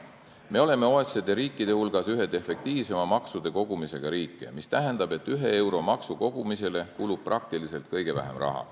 Me oleme OECD riikide hulgas üks efektiivsema maksukogumisega riike, mis tähendab, et ühe euro maksuraha kogumisele kulub kõige vähem raha.